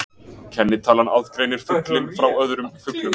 Kennitalan aðgreinir fuglinn frá öðrum fuglum.